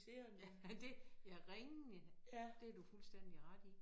Ja det ja ringene det du fuldstændig ret i